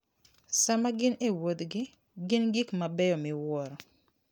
Sama gin e wuodhgi, gin gi gik mabeyo miwuoro.